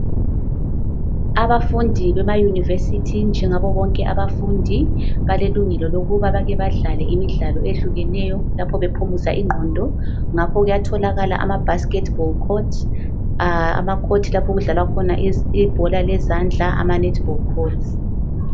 Abafundi bemayunivesithi njengabobonke abafundi balelungelo lokuba bake badlale imidlalo eyehlukeneyo lapho bephumuza ingqondo ngakho kuyatholakala ama basketball court, amakhothi lapho okudlalwa khona ibhola lezandla ama netball court.